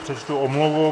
Přečtu omluvu.